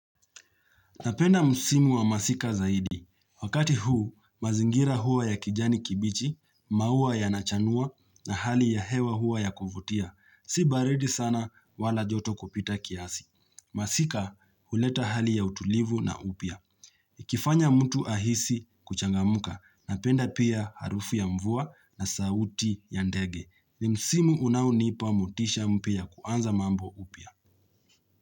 Napenda msimu wa masika zaidi. Wakati huu, mazingira hua ya kijani kibichi, maua ya nachanua na hali ya hewa hua ya kuvutia. Si baridi sana wala joto kupita kiasi. Masika huleta hali ya utulivu na upya. Ikifanya mtu ahisi kuchangamka. Napenda pia harufu ya mvua na sauti ya ndege. Ni musimu unaonipa motisha mpya ya kuanza mambo upya.